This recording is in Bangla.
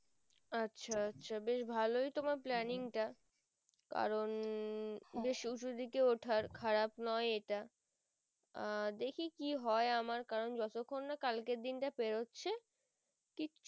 আচ্ছা আচ্ছা বেশ ভালোই তোমার planning টা কারণ বেশ উঁচু দিকে ওঠার খারাপ নয় এটা আহ দেখি কি হয় আমার কারণ যতক্ষন কালকের দিনটা পেরোচ্ছে